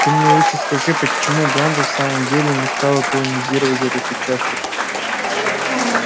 ты мне лучше скажи почему ганза в самом деле не стала колонизировать этот участок